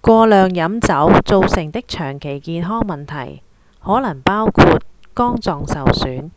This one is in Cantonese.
過量飲酒造成的長期健康問題可能包括肝臟受損